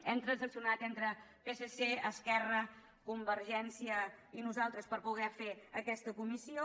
hem transaccionat entre psc esquerra convergència i nosaltres per poder fer aquesta comissió